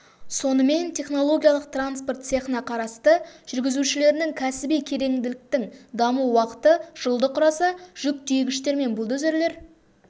сонымен технологиялық транспорт цехына қарасты жүргізушілерінің кәсіби кереңділіктің даму уақыты жылды құраса жүк тиегіштер мен бульдозерлер